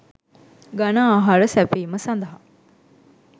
ඝන ආහාර සැපැයීම සඳහා